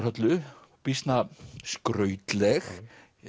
Höllu býsna skrautleg